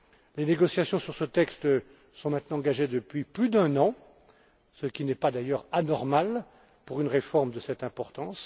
Les négociations sur ce texte sont maintenant engagées depuis plus d'un an, ce qui n'est d'ailleurs pas anormal pour une réforme de cette importance.